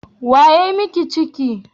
Wa ya yi miki ciki?